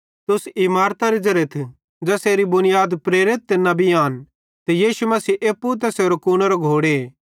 तुस इमारतरे ज़ेरेथ ज़ेसेरी बुनीयाद प्रेरित ते नेबी आन ते यीशु मसीह एप्पू तैसेरे कूनेरो घोड़े